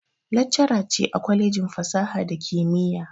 Laccara ce a kwalejin fasaha da kimiyya